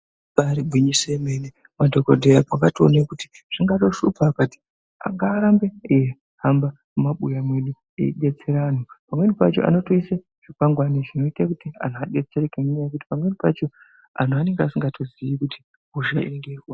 Ibari gwinyiso remene madhokodheya akatoone kuti zvingatoshupa akati ngaarambe eihamba mumabuya medu eibetsera anhu pamweni pacho anotoise zvikwangwani zvinoite kuti anhu adetsereke nenyaya yekuti pameni pacho anhu anenge asingatoziyi kuti hosha iyi ngeyeyi.